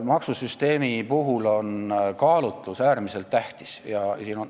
Maksusüsteemi puhul on kaalutlus äärmiselt tähtis.